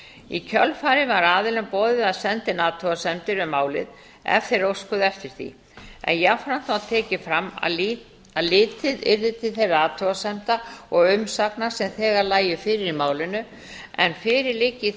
í kjölfarið var aðilum boðið að senda inn athugasemdir við málið ef þeir óskuðu eftir því en jafnframt var tekið fram að litið yrði til þeirra athugasemda og umsagna sem þegar lægju fyrir í málinu en fyrir liggi í